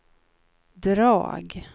drag